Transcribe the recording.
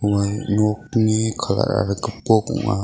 ua nokni colour-ara gipok ong·a.